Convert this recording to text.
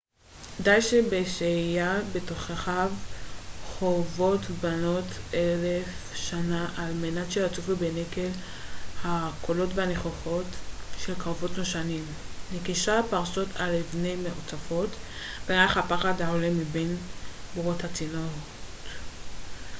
די בשהיה בתוככי חורבות בנות אלף שנה על מנת שיצופו בנקל הקולות והניחוחות של קרבות נושנים נקישת הפרסות על אבני המרצפות וריח הפחד העולה מבין בורות הצינוק